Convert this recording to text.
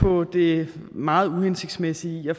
på det meget uhensigtsmæssige i at